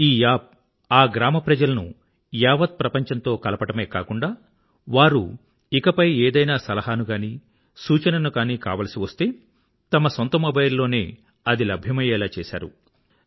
ఈ యాప్ ఆ గ్రామ ప్రజలను యావత్ ప్రపంచంతో కలపడమే కాకుండా వారు ఇకపై ఏదైనా సలహాను గానీ సూచనను గానీ కావాల్సి వస్తే తమ సొంత మొబైల్ లోనే అది లభ్యమయ్యేలా చేశారు